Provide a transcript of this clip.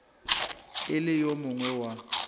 e le yo mongwe wa